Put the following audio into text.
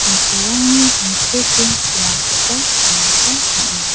samsirangni tangseke dongakoba nikna gita man·a.